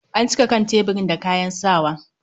An cika kan tebirin da kayan sawa.